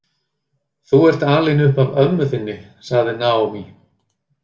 Þú ert alin upp af ömmu þinni, sagði Naomi.